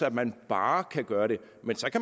at man bare kan gøre det men